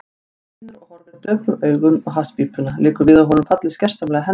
Hann stynur og horfir döprum augum á hasspípuna, liggur við að honum fallist gersamlega hendur.